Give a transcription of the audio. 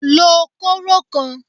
Lo kóró kan!